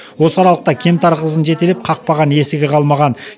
осы аралықта кемтар қызын жетелеп қақпаған есігі қалмаған